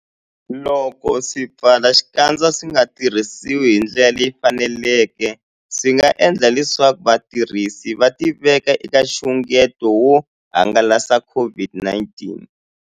Loko swipfalaxikandza swi nga tirhisiwi hi ndlela leyi faneleke, swi nga endla leswaku vatirhisi va tiveka eka nxungeto wo hangalasa COVID-19.